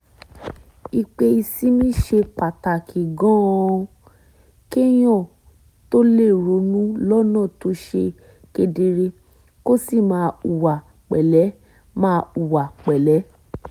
i pé ìsinmi ṣe pàtàkì gan-an kéèyàn tó lè ronú lọ́nà tó ṣe kedere kó sì máa hùwà pẹ̀lẹ́ máa hùwà pẹ̀lẹ́